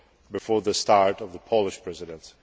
before the start of the Polish Presidency.